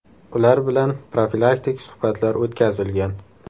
Ular bilan profilaktik suhbatlar o‘tkazilgan.